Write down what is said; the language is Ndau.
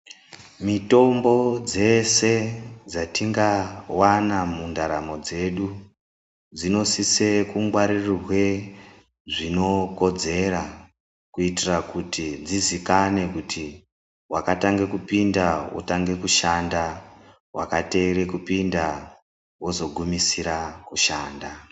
Mitombo dzese dzatingavana mundaramo dzedu, dzinosise kungwaririrwe zvinokodzera kuitira kuti dzizikanwe kuti vakatange kupinda pakutange kushanda, vakateere kupinda vozogunisira kushanda.